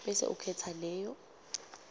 bese ukhetsa leyo